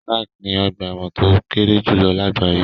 Sark ni ọ̀gba ẹ̀wọ̀n tó kéré jùlọ lágbàáyé.